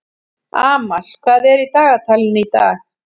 Amal, hvað er í dagatalinu í dag?